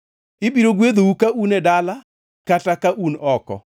Ibiro gwedhou ka un e dala kata ka un oko.